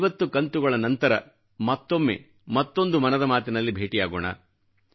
ಐವತ್ತು ಕಂತುಗಳ ನಂತರ ಮತ್ತೊಮ್ಮೆ ಮತ್ತೊಂದು ಮನದ ಮಾತಿನಲ್ಲಿ ಭೇಟಿಯಾಗೋಣ